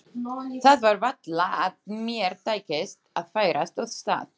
Það var varla að mér tækist að færast úr stað.